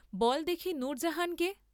বল দেখি নূরজাহান কে?